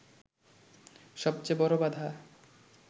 সবচেয়ে বড় বাধা